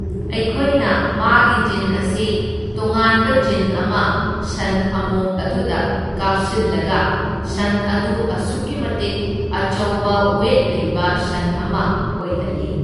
ꯑꯩꯈꯣꯏꯅ ꯃꯥꯒꯤ ꯖꯤꯟ ꯑꯁꯤ ꯇꯣꯉꯥꯟꯕ ꯖꯤꯟ ꯑꯃ ꯁꯟ ꯑꯃꯣꯝ ꯑꯗꯨꯗ ꯀꯥꯞꯁꯤꯜꯂꯒ ꯁꯟ ꯑꯗꯨ ꯑꯁꯨꯛꯀꯤ ꯃꯇꯤꯛ ꯑꯆꯧꯕ ꯋꯦꯠ ꯂꯩꯕ ꯁꯟ ꯑꯃ ꯑꯣꯏꯍꯜꯂꯤ꯫